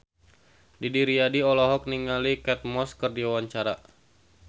Didi Riyadi olohok ningali Kate Moss keur diwawancara